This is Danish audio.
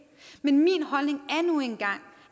men min holdning